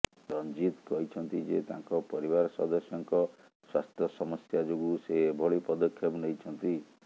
ରଂଜିତ କହିଛନ୍ତି ଯେ ତାଙ୍କ ପରିବାର ସଦସ୍ୟଙ୍କ ସ୍ୱାସ୍ଥ୍ୟ ସମସ୍ୟା ଯୋଗୁଁ ସେ ଏଭଳି ପଦକ୍ଷେପ ନେଇଛନ୍ତି